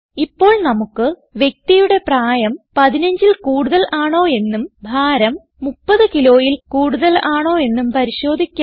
ഇപ്പോൾ നമുക്ക് വ്യക്തിയുടെ പ്രായം 15ൽ കൂടുതൽ ആണോയെന്നും ഭാരം 30kgയിൽ കൂടുതൽ ആണോയെന്നും പരിശോധിക്കാം